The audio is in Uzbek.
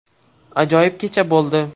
Ajoyib kecha bo‘ldi.